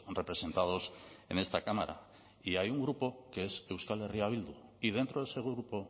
representados en esta cámara y hay un grupo que es euskal herria bildu y dentro de ese grupo